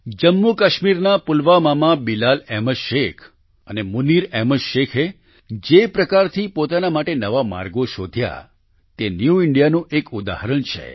જમ્મુકાશ્મીરના પુલવામામાં બિલાલ અહેમદ શેખ અને મુનિર અહેમદ શેખે જે પ્રકારથી પોતાના માટે નવા માર્ગો શોધ્યા તે ન્યૂ ઈન્ડિયા નું એક ઉદાહરણ છે